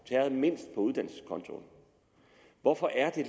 tæret mindst på uddannelseskontoen hvorfor er